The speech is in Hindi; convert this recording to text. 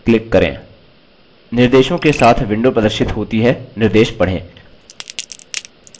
निर्देशों के साथ विंडो प्रदर्शित होती है निर्देश पढ़ें